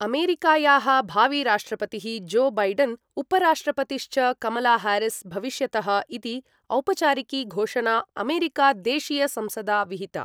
अमेरिकायाः भाविराष्ट्रपतिः Joe Biden, उपराष्ट्रपतिश्च कमलाहारिस् भविष्यतः इति औपचारिकी घोषणा अमेरिका देशीयसंसदा विहिता।